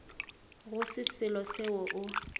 go se selo seo o